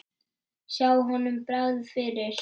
Sjá honum bregða fyrir!